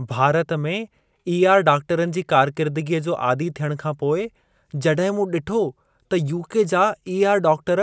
भारत में ई.आर. डाक्टरनि जी कारकिर्दगीअ जो आदी थियण खां पोइ, जॾहिं मूं ॾिठो त यू.के. जा ई.आर. डाक्टर